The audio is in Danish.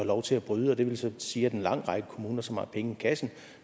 lov til at bryde det ville så sige at en lang række kommuner som har penge i kassen